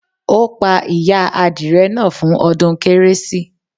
Ó pa ìyá adìrẹ náà fún ọdún Kérésì